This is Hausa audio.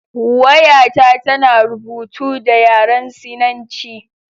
Wayata tana rubutu da yaren Sinanci.